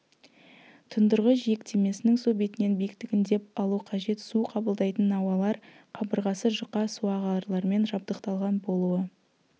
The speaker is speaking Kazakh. тұндырғы жиектемесінің су бетінен биіктігін деп алу қажет су қабылдайтын науалар қабырғасы жұқа суағарлармен жабдықталған болуы